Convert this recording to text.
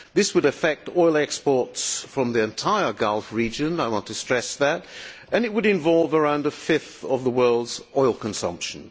This would affect oil exports from the entire Gulf region I want to stress that and it would involve around a fifth of the world's oil consumption.